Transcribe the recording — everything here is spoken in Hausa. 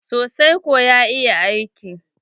sosai kwa, ya iya aiki.